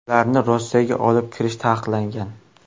Ularni Rossiyaga olib kirish taqiqlangan.